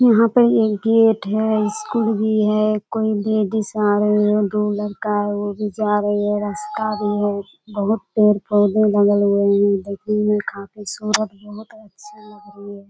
यहाँ पर एक गेट है और स्कूल भी है कोई लेडिस आ रहे हैं दो लड़का है वो भी जा रही है रास्ता भी है बहुत पेड़ पौधे लगाए हुए बाकी मे बहुत खूबसूरत बहुत अच्छा लग रही है।